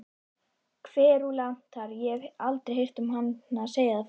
Kverúlantar- ég hef aldrei heyrt hana segja það fyrr.